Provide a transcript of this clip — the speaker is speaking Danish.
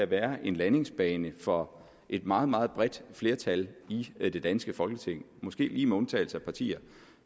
være en landingsbane for et meget meget bredt flertal i det danske folketing måske lige med undtagelse af partier